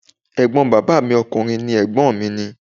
Ẹ̀gbọ́n bàbá mi ọkùnrin ni Ẹ̀gbọ́n mi ni.